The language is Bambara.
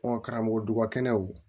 Ɔn karamɔgɔ dubakɛnɛw